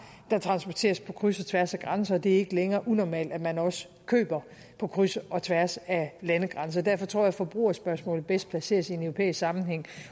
der transporteres på kryds og tværs af grænser og det er ikke længere unormalt at man også køber på kryds og tværs af landegrænser derfor tror jeg forbrugerspørgsmålet bedst placeres i en europæisk sammenhæng